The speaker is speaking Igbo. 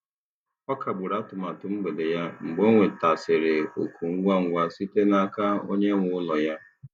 Ọ kagburu atụmatụ mgbede ya mgbe ọ nwetasịrị oku ngwa ngwa site n'aka onye nwe ụlọ ya.